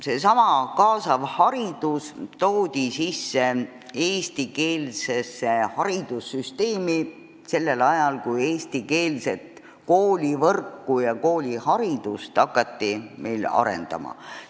Seesama kaasav haridus toodi eestikeelsesse haridussüsteemi sellel ajal, kui eestikeelset kooliharidust meil arendama hakati.